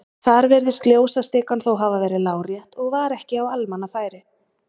Þar virðist ljósastikan þó hafa verið lárétt og var ekki á almannafæri.